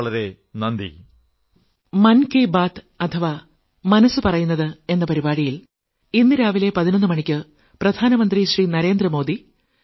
വളരെ വളരെ നന്ദി